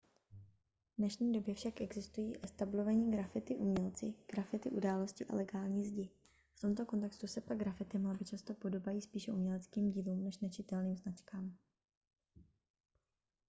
v dnešní době však existují etablovaní graffiti umělci graffiti události a legální zdi v tomto kontextu se pak graffiti malby často podobají spíše uměleckým dílům než nečitelným značkám